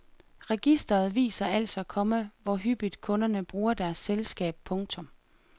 Registret viser altså, komma hvor hyppigt kunderne bruger deres selskab. punktum